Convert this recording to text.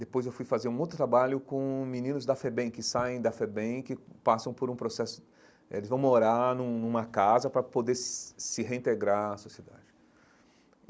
Depois, eu fui fazer um outro trabalho com meninos da FEBEM, que saem da FEBEM que passam por um processo... Eh eles vão morar num numa casa para poder se se reintegrar à sociedade.